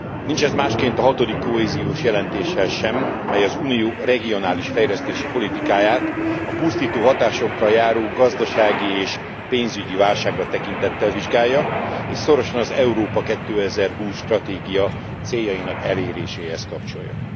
Nincs ez másként a hatodik kohéziós jelentéssel sem, mely az Unió regionális fejlesztési politikáját a pusztító hatásokkal járó gazdasági és pénzügyi válságra tekintettel vizsgálja és szorosan az Európa 2020 stratégia céljainak eléréséhez kapcsolja.